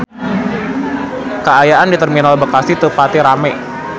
Kaayaan di Terminal Bekasi teu pati rame